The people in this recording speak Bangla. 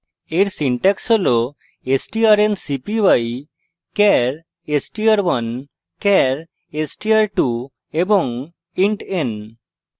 এর syntax হল strncpy char str1 char str2 int n;